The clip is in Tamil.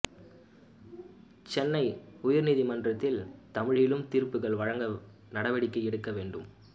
சென்னை உயர் நீதிமன்றத்தில் தமிழிலும் தீர்ப்புகள் வழங்க நடவடிக்கை எடுக்க வேண்டும்